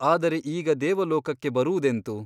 ಆದರೆ ಈಗ ದೇವಲೋಕಕ್ಕೆ ಬರುವುದೆಂತು ?